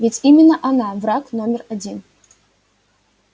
ведь именно она враг номер один